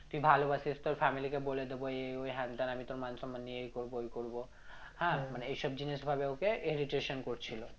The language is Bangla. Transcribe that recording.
তুই ভালবাসিস তোর family কে বলে দিব এ ওই হ্যান ত্যান আমি তোর মান সম্মান এই করবো ওই করব হ্যাঁ মানে এইসব জিনিস ভাবে ওকে করছিল